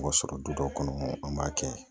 Wa sɔrɔ du dɔw kɔnɔ an b'a kɛ